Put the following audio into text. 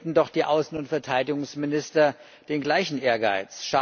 Hätten doch die Außen und Verteidigungsminister den gleichen Ehrgeiz!